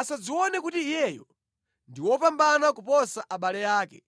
Asadzione kuti iyeyo ndi wopambana kuposa abale ake,